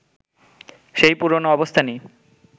সেই পুরনো অবস্থানই